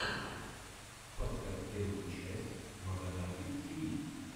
поставь первую часть маганатик тиви